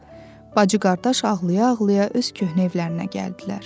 bacı-qardaş ağlaya-ağlaya öz köhnə evlərinə gəldilər.